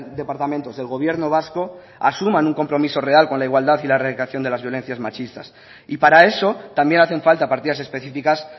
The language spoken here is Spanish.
departamentos del gobierno vasco asuman un compromiso real con la igualdad y la erradicación de las violencias machistas y para eso también hacen falta partidas especificas